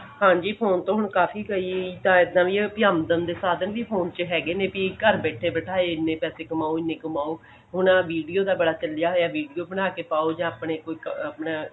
ਹਾਂਜੀ phone ਤੋਂ ਹੁਣ ਕਾਫੀ ਕਈ ਜਾ ਏਦਾਂ ਦੀਆਂ ਵੀ ਆਮਦਨ ਦੇ ਸਾਧਨ ਵੀ phone ਚ ਹੈਗੇ ਨੇ ਵੀ ਘਰ ਬੈਠੇ ਬਿਠਾਏ ਵੀ ਇਹਨੇ ਪੈਸੇ ਕਮਾਓ ਇਹਨੇ ਕਮਾਓ ਹੁਣ ਆਹ video ਦਾ ਬੜਾ ਚੱਲਿਆ ਹੋਇਆ video ਬਣਾਕੇ ਪਾਓ ਜਾ ਆਪਣੇ ਕੋਈ ਆਪਣਾ